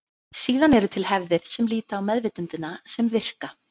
Síðan eru til hefðir sem líta á meðvitundina sem virka.